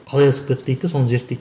қалай асып кетті дейді де соны зерттейді